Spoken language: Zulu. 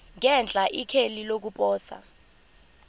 ngenhla ikheli lokuposa